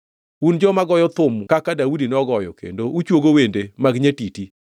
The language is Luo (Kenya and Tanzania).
Un joma goyo thum kaka Daudi nogoyo kendo uchuogo wende mag nyatiti.